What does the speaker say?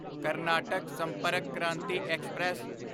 Karnataka Sampark Kranti express